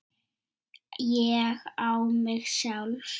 Ég á mig sjálf.